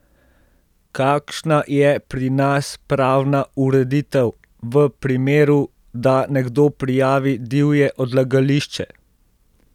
Kakšna je pri nas pravna ureditev, v primeru, da nekdo prijavi divje odlagališče?